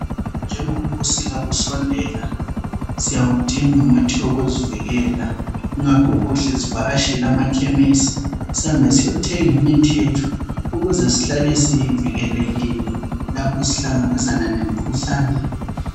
Njengoba ubusika bisondela, siyawudinga umuthi wokuzivukela. Ingakho kuhle sivakatshele amakhemesi, sihambe siyothenga imithi yethu ukuze sihlale sivikelekile lapho sihlangabezana lemikhuhlane.